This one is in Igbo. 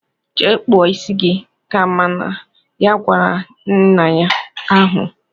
"Jee kpụọ isi gi!"ka mama ya gwara ya nnya ahụ.